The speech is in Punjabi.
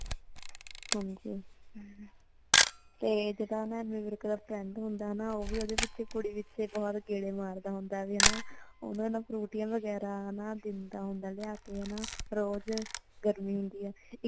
ਹਾਂਜੀ ]ਤੇ ਜੋ ਐਮੀ ਵਿਰਕ ਦਾ friend ਹੁੰਦਾ ਹੈ ਨਾ ਓ ਵੀ ਓਦੇ ਪਿੱਛੇ ਕੁੜੀ ਪਿੱਛੇ ਬਹੁਤ ਗੇੜੇ ਮਾਰਦਾ ਹੁੰਦਾ ਹੈ ਤੇ ਓਨਾ ਨੂ ਫਰੂਟੀਆਂ ਵਗੈਰਾ ਵੀ ਦਿੰਦਾ ਹੁੰਦਾ ਹੈ ਲਿਆ ਕੇ ਹਨਾ ਰੋਜ਼ ਧਰੀ ਹੁੰਦੀ ਹੈ